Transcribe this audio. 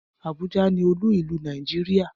Abuja ni olú ìlú Nàìjíríà.